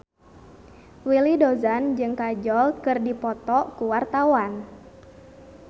Willy Dozan jeung Kajol keur dipoto ku wartawan